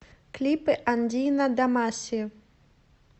клипы андино дамаси